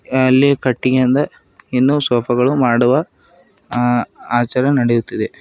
ಅಲ್ಲಿ ಕಟ್ಟಿಗೆಯಿಂದ ಇನ್ನೂ ಸೋಫಾ ಗಳು ಮಾಡುವ ಆಚಾರ ನಡೆಯುತ್ತಿದೆ.